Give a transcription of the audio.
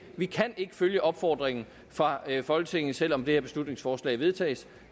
følge opfordringen fra folketinget selv om det her beslutningsforslag vedtages